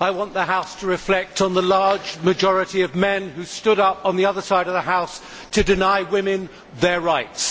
I want the House to reflect on the large majority of men who stood up on the other side of the House to deny women their rights.